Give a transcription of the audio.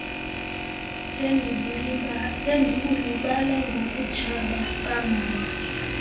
sendibulibala ngokutshaba kukamama